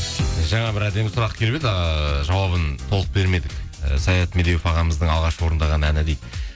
жаңа бір әдемі сұрақ келіп еді ыыы жауабын толық бермедік і саят медеуов ағамыздың алғашқы орындаған әні дейді